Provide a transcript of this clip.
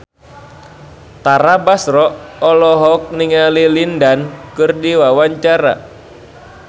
Tara Basro olohok ningali Lin Dan keur diwawancara